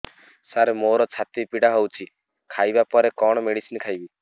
ସାର ମୋର ଛାତି ପୀଡା ହଉଚି ଖାଇବା ପରେ କଣ ମେଡିସିନ ଖାଇବି